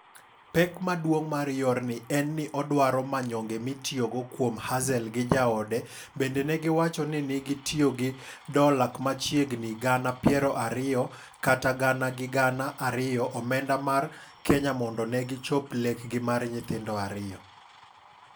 Pek maduong' mar yorni en ni odwaro manyonge mitiyogo kuom Hazel gi jaodema bende negi wacho ni negi tiyo gi dola kmachiegnigi gana piero ariyokata gana gi gana ariyo omenda mar Kenyamondo negi chop lekgi mar nyithindo ariyo.